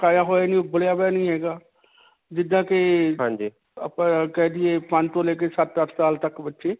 ਪਕਾਇਆ ਹੋਇਆ ਨਹੀਂ ਉਬਲਿਆ ਹੋਇਆ ਨਹੀਂ ਹੈਗਾ. ਜਿੱਦਾਂ ਕਿ ਆਪਾਂ ਕਹਿ ਦਈਏ ਪੰਜ ਤੋਂ ਲੈ ਕੇ ਸੱਤ-ਅਠ ਸਾਲ ਤੱਕ ਬੱਚੇ.